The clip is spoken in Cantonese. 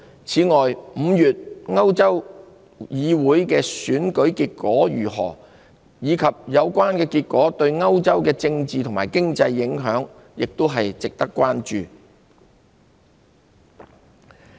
此外 ，5 月歐洲議會的選舉結果如何，以及有關結果對歐洲的政治和經濟的影響也值得關注。